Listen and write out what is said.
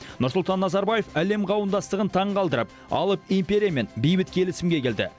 нұрсұлтан назарбаев әлем қауымдастығын таңғалдырып алып империямен бейбіт келісімге келді